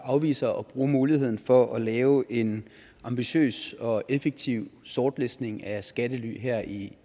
afviser at bruge muligheden for at lave en ambitiøs og effektiv sortlistning af skattely her i